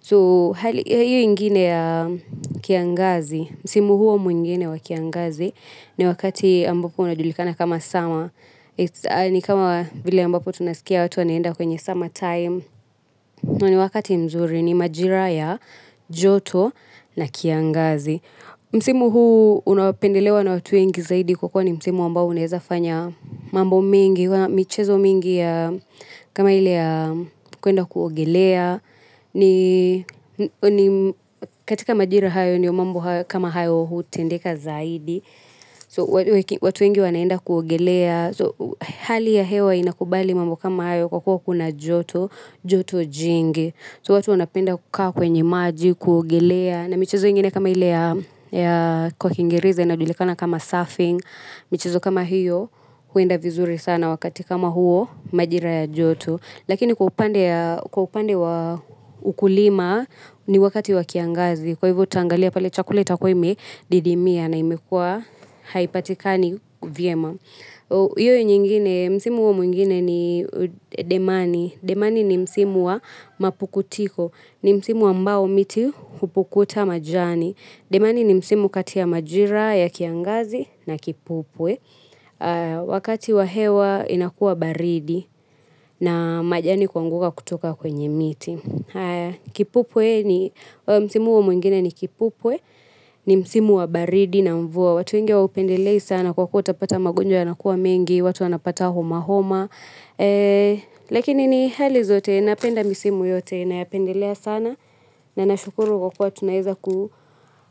So, hali ya hiyo ingine ya kiangazi, msimu huo mwingine wa kiangazi, ni wakati ambapo unajulikana kama summer ni kama vile ambapo tunasikia watu wanaenda kwenye summer time ni wakati mzuri ni majira ya joto na kiangazi. Msimu huu unaopendelewa na watu wengi zaidi kwa kuwa ni msimu ambao unaeza fanya mambo mengi. Michezo mingi ya kama ile ya kuenda kuogelea katika majira hayo ndio mambo kama hayo hutendeka zaidi. So watu wengi wanaenda kuogelea. So hali ya hewa inakubali mambo kama hayo kwa kwa kuna joto. Joto jingi. So watu wanapenda kukaa kwenye maji kuogelea na michezo ingine kama ile ya kwa kingereza inajulikana kama surfing michezo kama hiyo huenda vizuri sana wakati kama huo majira ya joto lakini kwa upande wa ukulima ni wakati wa kiangazi kwa hivyo taangalia pale chakula itakuwa imedidimia na imekuwa haipatikani vyema iyo nyingine msimu huo mwigine ni demani. Demani ni msimu wa mapukutiko. Ni msimu ambao miti hupukuta majani. Demani ni msimu kati ya majira ya kiangazi na kipupwe wakati wa hewa inakuwa baridi na majani kuanguka kutoka kwenye miti. Kipupwe ni, msimu huo mwingine ni kipupwe. Ni msimu wa baridi na mvua. Watu wengi hawaupendelei sana kwa kuwa utapata magonjwa yanakuwa mengi, watu wanapata homa homa lakini ni hali zote. Napenda misimu yote nayapendelea sana na nashukuru kwa kuwa tunaeza kuu.